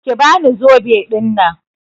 Ki bani zobe ɗinnan.